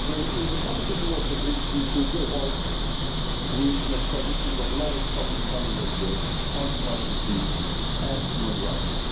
In the policy towards the BRICS we should avoid the creation of coalitions of the lowest common denominator on democracy and human rights.